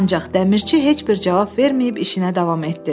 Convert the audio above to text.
Ancaq dəmirçi heç bir cavab verməyib işinə davam etdi.